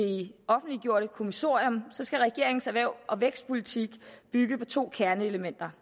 offentliggjorte kommissorium skal regeringens erhvervs og vækstpolitik bygge på to kerneelementer